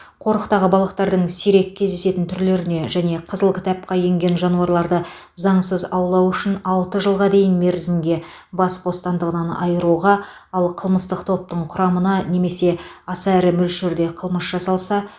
қорықтағы балықтардың сирек кездесетін түрлеріне және қызыл кітапқа енгген жануарларды заңсыз аулау үшін алты жылға дейінгі мерзімге бас бостандығынан айыруға ал қылмыстық топтың құрамында немесе аса ірі мөлшерде қылмыс жасалса